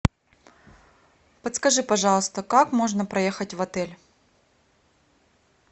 подскажи пожалуйста как можно проехать в отель